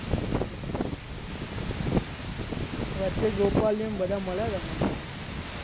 વચ્ચે ગોપાલિયો ને બધા મળ્યા હતા મને.